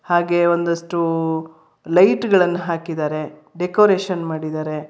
ಹಾಗೆ ಒಂದಸ್ಟು ಲೈಟ್ ಗಳನ್ನ ಹಾಕಿದಾರೆ ಡೆಕೋರೇಷನ್ ಮಾಡಿದಾರೆ.